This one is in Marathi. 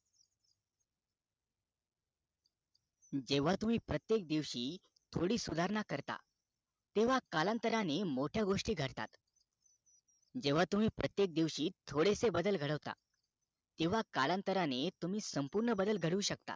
जेव्हा तुम्ही प्रत्येक दिवशी थोडी सुधारणा करता तेव्हा कालांतराने मोठ्या गोष्टी घडता जेव्हा तुम्ही प्रत्येक दिवशीथोडेसे बदल घडवता तेव्हा कालांतराने तुम्ही संपूर्ण बदल घडू शकता